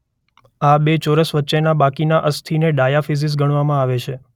આ બે ચોરસ વચ્ચેના બાકીના અસ્થિને ડાયાફિઝિસ ગણવામાં આવે છે.